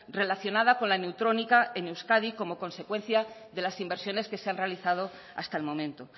relacionada con la neutrónica en euskadi como consecuencia de las inversiones que se han realizado hasta el momento